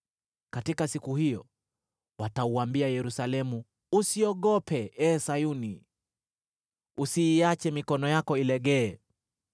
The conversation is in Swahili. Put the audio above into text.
Katika siku hiyo watauambia Yerusalemu, “Usiogope, ee Sayuni; usiiache mikono yako ilegee.